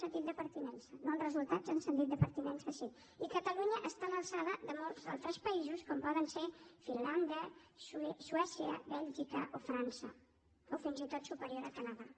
sentit de pertinença no en resultats en sentit de pertinença sí i catalunya està a l’alçada de molts altres països com poden ser finlàndia suècia bèlgica o frança o fins i tot superior al canadà